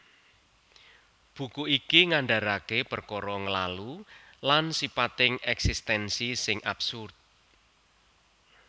Buku iki ngandaraké perkara nglalu lan sipating èksistènsi sing absurd